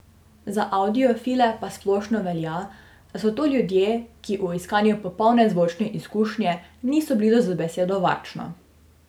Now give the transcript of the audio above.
Za avdiofile pa splošno velja, da so to ljudje, ki v iskanju popolne zvočne izkušnje niso blizu z besedo varčno.